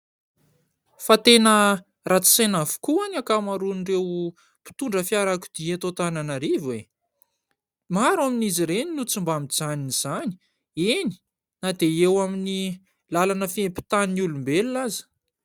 Fa tena ratsy saina avokoa ny ankamaroan'ireo mpitondra fiarakodia eto Antananarivo e ! Maro amin'izy ireny no tsy mba mijanona izany, eny na dia eo amin'ny lalana fiampitan'ny olombelona aza.